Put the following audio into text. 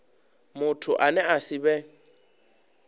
muthu ane a si vhe